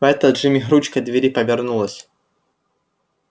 в этот же миг ручка двери повернулась